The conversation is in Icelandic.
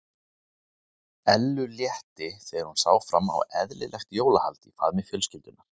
Ellu létti þegar hún sá fram á eðlilegt jólahald í faðmi fjölskyldunnar.